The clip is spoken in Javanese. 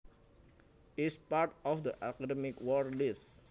is part of the Academic Word List